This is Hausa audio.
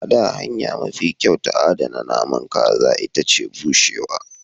A da, hanya mafi kyau ta adana naman kaza ita ce bushewa.